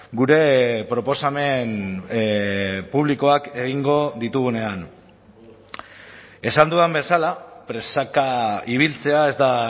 gure proposamen publikoak egingo ditugunean esan dudan bezala presaka ibiltzea ez da